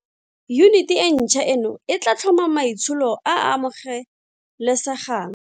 Yuniti e ntšhwa eno e tla tlhoma maitsholo a a amogelesegang.